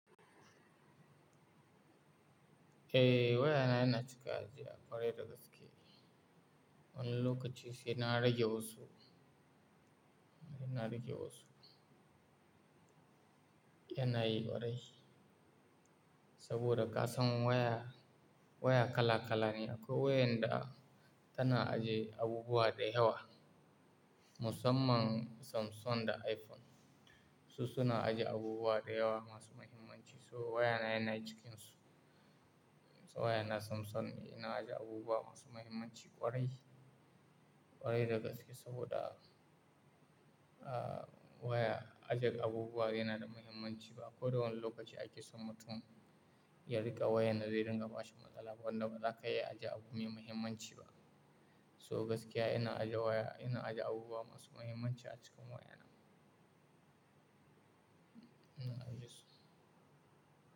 Eh waya na yana cika ajiya ƙwarai da gaske. Wani lokaci saina rage wasu, saina rage wasu. Yana yi ƙwarai saboda ƙasan waya, waya kala kala ne akwai wayar da tana ajiye abubuwa da yawa Musamman Samsung da iPhone. Su suna ajiye abubuwa da yawa masu mahimmanci. So waya na yana cikin su. Waya na Samsung ne yana ajiye abubuwa masu mahimmanci ƙwarai, ƙwarai da gaske saboda, ah waya ajiye abubuwa yana da mahimmanci ba koda wani lokaci ake son mutum ya riƙa wayar da a zai ringa bashi matsala ba wanda ba za ka iya ajiye abu mai mahimmanci ba. So gaskiya yana ajiye waya, yana ajiye abubuwa masu mahimmanci a cikin waya na. Ina ajiye su.